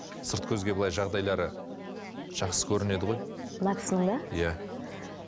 сырт көзге былай жағдайлары жақсы көрінеді ғой мына кісінің бе иә